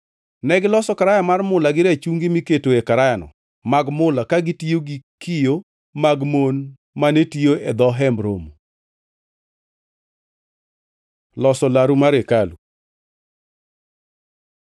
Negiloso karaya mar mula gi rachungi miketoe karayano mag mula ka gitiyo gi kiyo mag mon mane tiyo e dho Hemb Romo. Loso laru mar hekalu